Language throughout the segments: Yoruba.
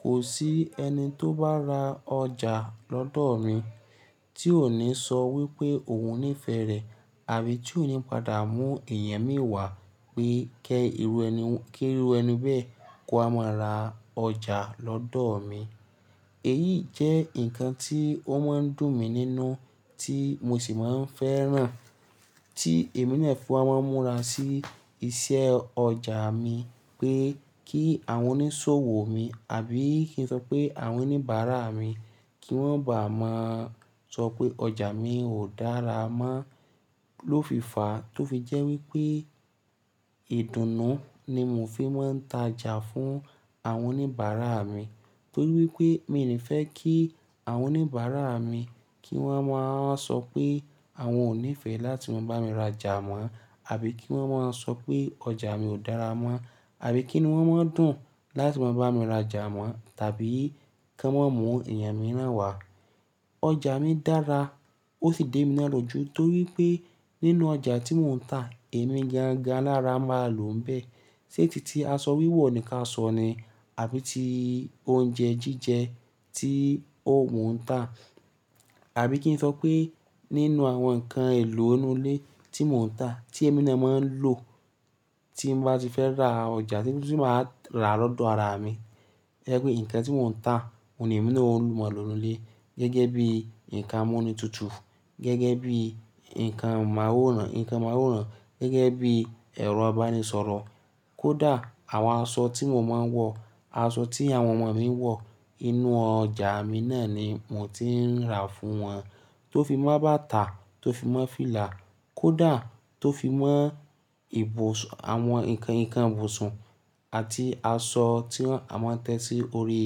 kò sí ẹni tó bá ra ọjà lọ́dọ̀ mi tí ò ní sọ wípé òun nífẹ̀ẹ́ rẹ̀ àbí tí ò ní padà mú èèyàn mìíràn wá pé kí irú ẹni bẹ́ẹ̀ kó má ra ọjà lọ́dọ̀ mi. Èyí jẹ́ nǹkan tí ó máa ń dùn mí nínú tí mo sì máa ń fẹ́ràn tí èmi náà fún a máa ń múra sí iṣẹ́ ọjà mi pé kí àwọn oníṣòwò mi àbí kí n sọ pé àwọn oníbàárà mi kí wọ́n bà á máa sọ pé ọjà mi ò dára mọ́ lófiifà tó fi jẹ́ wípé ìdùnnú ni mò fi máa ń ta jà fún àwọn oníbàárà mi. Torí wípé mi ò ní fẹ́ kí àwọn oníbàárà mi kí wọ́n máa ń sọ pé àwọn ò nífẹ̀ẹ́ láti máa bá mi ra ọjà mọ́ àbí kí wọ́n máa ń sọ pé ọjà mi ò dára mọ́ àbí kí ni wọ́n máa ń dùn láti máa bá mi ra ọjà mọ́ tàbí kí wọ́n mú èèyàn mìíràn wá. Ọjà mi dára ó sì dé mi lọ́jú torí pé nínú ọjà tí mò ń tà èmi gangan lára máa lò ń bẹ́ẹ̀. Sé ti aṣọ wíwọ̀ nìkan a sọ ni àbí ti oúnjẹ jíjẹ tí òun ń tà àbí kí n sọ pé nínú àwọn nǹkan èlò inú ilé tí mò ń tà tí èmi ni a máa ń lò tí bá ti fẹ́ ra ọjà tí ó sì máa rà lọ́dọ̀ ara mi. Jẹ́ pé nǹkan tí mò ń tà òun ni èmi ni mo máa lò nínú ilé gẹ́gẹ́ bíi nǹkan múni tutù, gẹ́gẹ́ bíi nǹkan máwòrán, nǹkan máwòrán gẹ́gẹ́ bíi ẹ̀rọ̀ abánisọ̀rọ̀. Kódà àwọn aṣọ tí mo máa ń wọ̀, aṣọ tí àwọn ọmọ mi ń wọ̀, inú ọjà mi náà ni mò ti ń rà fún wọn. Tó fi máa bá tà, tó fi máa fìlà, kódà tó fi mọ́ àwọn nǹkan ìbùsùn àti aṣọ tí a máa ń tẹ́ sí orí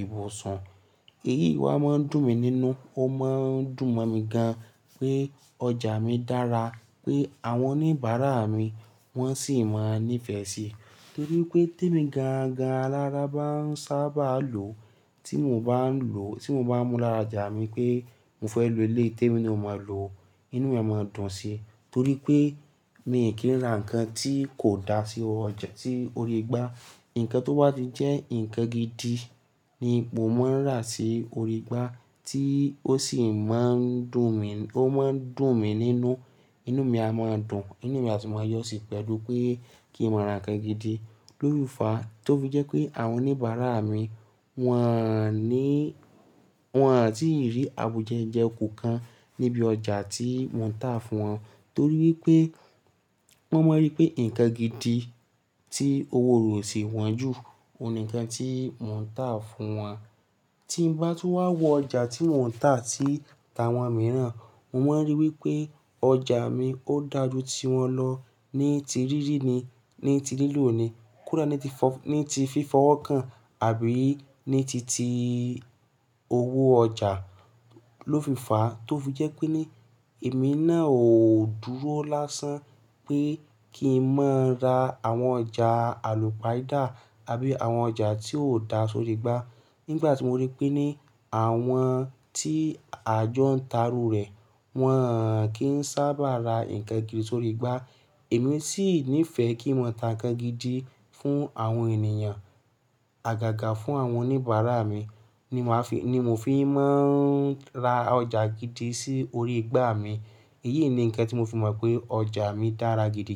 ìbùsùn. Èyí wá máa ń dùn mí nínú. Ó máa ń dùn mọ́ mi gan pé ọjà mi dára pé àwọn oníbàárà mi wọ́n sì máa nífẹ̀ẹ́ síi. Torí pé tí èmi gangan lára bá ń sábà lò tí mò ń bá lò, tí mò ń bá múra ra ọjà mi pé mo fẹ́ lò ilé, tí èmi ni ò máa lò, inú mi a máa dùn síi. Torí pé mi ò kí ń rà nǹkan tí kò dá sí orí igbá. Nǹkan tó bá ti jẹ́ nǹkan gidi ni mo máa ń rà sí orí igbá tí ó sì máa ń dùn mí, ó máa ń dùn mí nínú, inú mi a máa dùn, inú mi a sì máa yọ̀ sí i pẹ̀lú pé kí n mọ̀ ara nǹkan gidi. Lófiifà tó fi jẹ́ pé àwọn oníbàárà mi wọ́n à ní, wọ́n à ti rí àbùjẹyẹ̀kù kan níbi ọjà tí mò ń tà fún wọn. Torí wípé wọ́n máa rí pé nǹkan gidi tí owó ò sì wọ́n jù, òun ni nǹkan tí mò ń tà fún wọn. Tí mo bá tó wá wọ ọjà tí mò ń tà tí ta àwọn mìíràn, mo máa ń rí wípé ọjà mi ó dà jú tí wọn lọ ní ti rírì ni, ní ti lílo ni, kódà ní ti fífọwọ́ kan àbí ní titi owó ọjà lófiifà tó fi jẹ́ pé ní èmi náà ò dúró lásán pé kí n má ra àwọn ọjà àlùpàídà àbí àwọn ọjà tí ò dá sí orí igbá. Nígbà tí mo rí pé ní àwọn tí àjọ ń ta rú rẹ̀, wọ́n kì í sábà ra nǹkan gidi sórí igbá, èmi sì nífẹ̀ẹ́ kí mo tà nǹkan gidi fún àwọn ènìyàn. Àgàgà fún àwọn oníbàárà mi ni mò fi máa ń ra ọjà gidi sí orí igbá mi. Èyí ni nǹkan tí mo fi mọ̀ pé ọjà mi dára gidi.